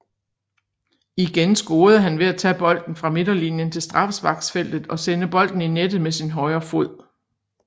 Igen scorede han ved at tage bolden fra midterlinjen til straffesparksfeltet og sende bolden i nettet med sin højre fod